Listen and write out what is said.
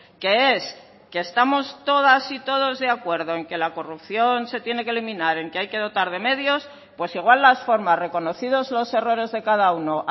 que es que estamos todas y todos de acuerdo en que la corrupción se tiene que eliminar en que hay que dotar de medios pues igual las formas reconocidos los errores de cada uno